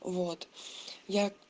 вот я